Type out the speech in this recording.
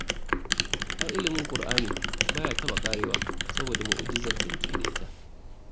Ai ilimin ƙur'ani ba ya taɓa ƙarewa saboda mu'ujizar da yake da ita